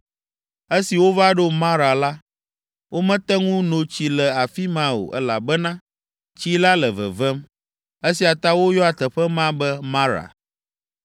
Esi wova ɖo Mara la, womete ŋu no tsi le afi ma o, elabena tsi la le vevem. (Esia ta woyɔa teƒe ma be Mara.)